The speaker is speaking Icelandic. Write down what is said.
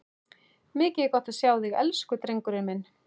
Mikið er gott að sjá þig, elsku drengurinn minn!